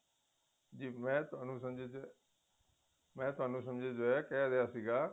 ਜ਼ੀ ਮੈ ਤੁਹਾਨੂੰ ਮੈ ਤੁਹਾਨੂੰ ਕਹਿ ਰਿਹਾ ਸੀਗਾ